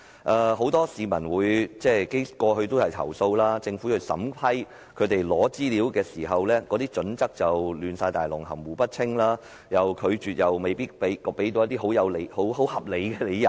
過去有很多市民投訴，指政府對於他們索取資料的要求的審批準則含糊不清，在予以拒絕時又沒有給予合理理由。